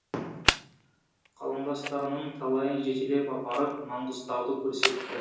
қаламдастарының талайын жетелеп апарып маңғыстауды көрсетті